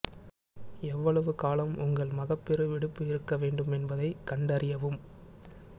எவ்வளவு காலம் உங்கள் மகப்பேறு விடுப்பு இருக்க வேண்டும் என்பதைக் கண்டறியவும்